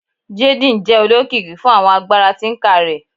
Jaden jẹ olokiki fun awọn agbara tinker rẹ